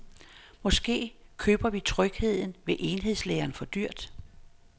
Måske køber vi trygheden ved enhedslæreren for dyrt.